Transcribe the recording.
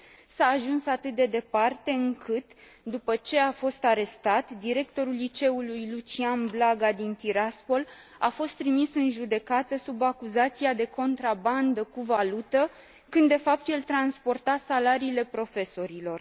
S a ajuns atât de departe încât, după ce a fost arestat, directorul liceului Lucian Blaga din Tiraspol a fost trimis în judecată sub acuzația de contrabandă cu valută, când de fapt el transporta salariile profesorilor.